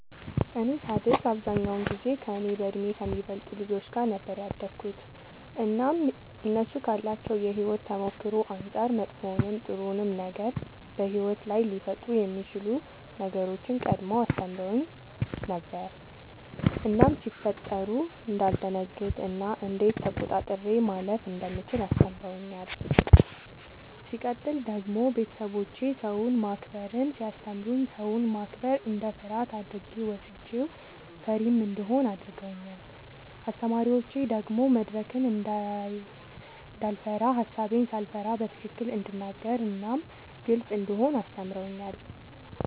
እኔ ሳድግ አብዛኛውን ጊዜ ከእኔ በእድሜ ከሚበልጡ ልጆች ጋር ነበር ያደግሁትኝ እናም እነሱ ካላቸው የሕይወት ተሞክሮ አንጻር መጥፎውንም ጥሩውንም ነገር በሕይወት ላይ ሊፈጠሩ የሚችሉ ነገሮችን ቀድመው አስተምረውኝ ነበር እናም ሲፈጠሩ እንዳልደነግጥ እና እንዴት ተቆጣጥሬ ማለፍ እንደምችል አስተምረውኛል። ሲቀጥል ደግሞ ቤተሰቦቼ ሰውን ማክበርን ሲያስተምሩኝ ሰውን ማክበር እንደ ፍርሃት አድርጌ ወስጄው ፈሪም እንደሆን አድርገውኛል። አስተማሪዎቼ ደግሞ መድረክን እንዳይፈራ ሐሳቤን ሳልፈራ በትክክል እንድናገር እናም ግልጽ እንደሆን አስተምረውኛል።